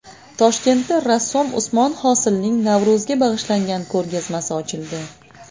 Toshkentda rassom Usmon Hosilning Navro‘zga bag‘ishlangan ko‘rgazmasi ochildi.